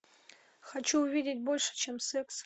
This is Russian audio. хочу увидеть больше чем секс